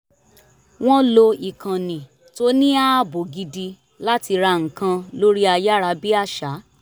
wọ́n lo ikànnì tó ní ààbò gidi láti rà nǹkan lórí ayárabíàṣá